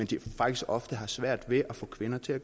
de faktisk ofte har svært ved at få kvinderne til